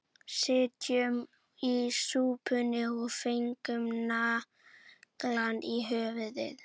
Sitjum í súpunni og fengum naglann í höfuðið